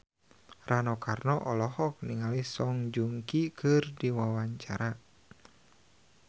Rano Karno olohok ningali Song Joong Ki keur diwawancara